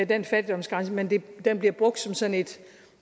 den fattigdomsgrænse men den bliver brugt som sådan et